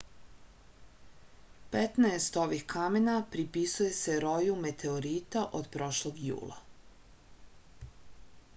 petnaest ovih kamena pripisuje se roju meteorita od prošlog jula